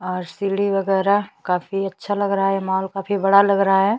और सीढ़ी वगेरा काफी अच्छा लग रहा है मॉल काफी बड़ा लग रहा है।